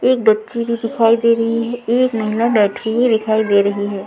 एक बच्चे भी दिखाई दे रही है एक महिला बैठी हुई दिखाई दे रही है।